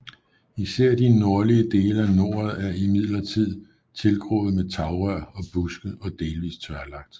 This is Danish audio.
Især de nordlige dele af noret er imidletid tilgroet med tagrør og buske og delvis tørlagt